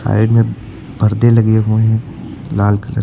side में परदे लगे हुए हैं लाल कलर --